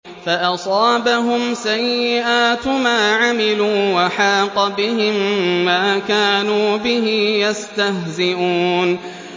فَأَصَابَهُمْ سَيِّئَاتُ مَا عَمِلُوا وَحَاقَ بِهِم مَّا كَانُوا بِهِ يَسْتَهْزِئُونَ